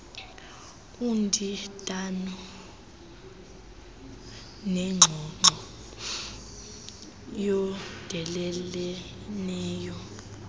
undindano nengxoxo eyondeleleneyo